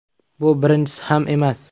Bu birinchisi ham emas.